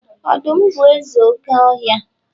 Ọdum bu eze oke ohia